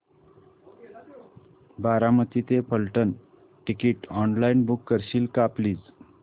बारामती ते Phaltan ticket online book करशील का प्लीज